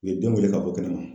U ye den wele ka bɔ kɛnɛma.